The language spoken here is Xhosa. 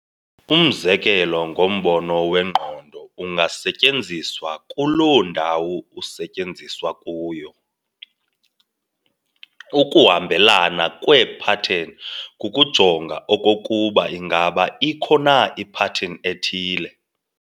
Umzekelo ngombono wengqondo, ungasetyenziswa kuloo ndawo usetyenziswa kuyo. ukuhambelana kweepattern kukujonga okokuba ingaba ikho na ipattern ethile.